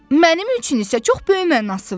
Mənim üçün isə çox böyük mənası var.